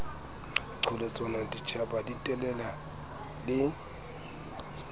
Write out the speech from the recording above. qholotsanwa ditjhaba di telela le